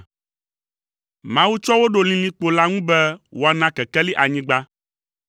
Mawu tsɔ wo ɖo lilikpo la ŋu, be woana kekeli anyigba,